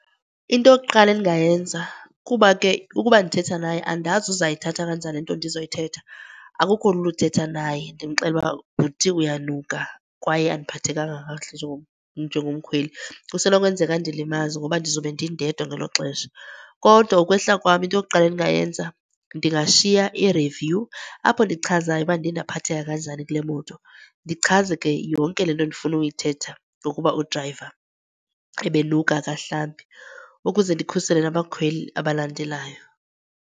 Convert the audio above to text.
Into yokuqala endingayenza kuba ke ukuba ndithetha naye andazi uzayithatha kanjani le nto ndizoyithetha, akukho lula uthetha naye ndimxelele uba bhuti uyanuka kwaye andiphathekanga kakuhle njengomkhweli. Kusenokwenzeka andilimaze ngoba ndizobe ndindedwa ngelo xesha. Kodwa ukwehla kwam into yokuqala endingayenza, ndingashiya i-review apho ndichazayo uba ndiye ndaphatheka kanjani kule moto. Ndichaze ke yonke le nto endifuna uyithetha ngokuba udrayiva ebe nuka akahlambi ukuze ndikhusele nabakhweli abalandelayo.